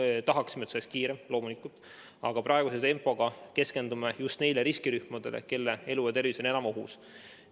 Me tahaksime, et see oleks kiirem, loomulikult, aga praeguse tempo korral keskendume just neile riskirühmadele, kelle elu ja tervis on enim ohus.